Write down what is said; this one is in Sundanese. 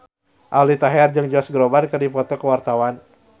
Aldi Taher jeung Josh Groban keur dipoto ku wartawan